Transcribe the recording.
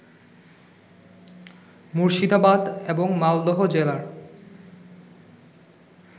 মুর্শিদাবাদ এবং মালদহ জেলার